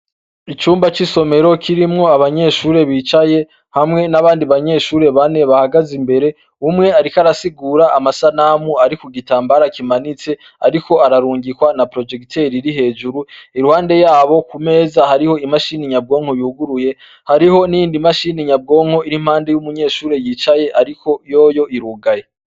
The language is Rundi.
Icumba c'isomero kirimwo abanyeshure bicaye hamwe n'abandi banyeshure bane bahagaze imbere umwe arik arasigura amasanamu ari ku gitambara kimanitse, ariko ararungikwa na projekiteri iri hejuru iruwande yabo ku meza hariho imashini nyabwonko yuguruye hariho n'indi mashini nyabwonko iri mpande y'umunyeshure yicaye, ariko yoyo irugaye.